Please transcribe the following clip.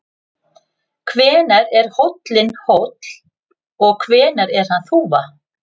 Hvenær er hóllinn hóll og hvenær er hann þúfa?